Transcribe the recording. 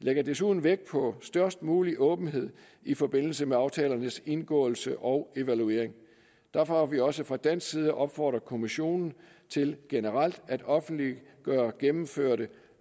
vi lægger desuden vægt på størst mulig åbenhed i forbindelse med aftalernes indgåelse og evaluering derfor har vi også fra dansk side opfordret kommissionen til generelt at offentliggøre gennemførte